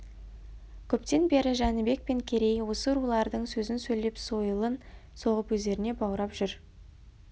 көптен бері жәнібек пен керей осы рулардың сөзін сөйлеп сойылын соғып өздеріне баурап жүр